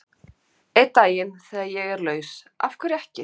Einn daginn, þegar ég er laus, af hverju ekki?